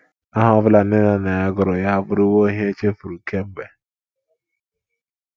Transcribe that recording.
Aha ọ bụla nne na nna ya gụrụ ya abụrụwo ihe e chefuru kemgbe.